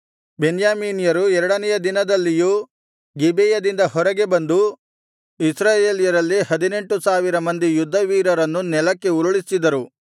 ಬೆನ್ಯಾಮೀನ್ಯರು ಎರಡನೆಯ ದಿನದಲ್ಲಿಯೂ ಗಿಬೆಯದಿಂದ ಹೊರಗೆ ಬಂದು ಇಸ್ರಾಯೇಲ್ಯರಲ್ಲಿ ಹದಿನೆಂಟು ಸಾವಿರ ಮಂದಿ ಯುದ್ಧವೀರರನ್ನು ನೆಲಕ್ಕೆ ಉರುಳಿಸಿದರು